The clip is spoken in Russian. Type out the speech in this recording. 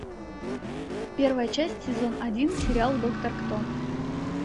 первая часть сезон один сериал доктор кто